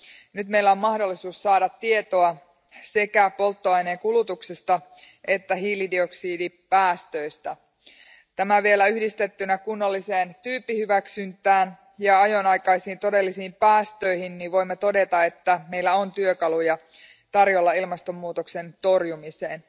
Nyt meillä on mahdollisuus saada tietoa sekä polttoaineen kulutuksesta että hiilidioksidipäästöistä. Kun tämä vielä yhdistetään kunnalliseen tyyppihyväksyntään ja ajonaikaisiin todellisiin päästöihin, voimme todeta, että meillä on työkaluja ilmastonmuutoksen torjumiseen.